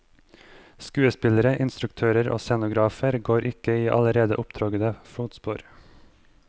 Skuespillere, instruktører og scenografer går ikke i allerede opptråkkede fotspor.